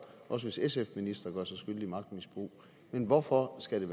også hvis sf ministre gør sig skyldige i magtmisbrug men hvorfor skal